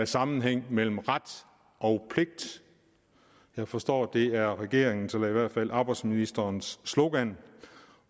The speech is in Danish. sammenhæng mellem ret og pligt jeg forstår at det er regeringens eller i hvert fald arbejdsministerens slogan